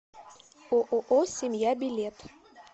ооо семья билет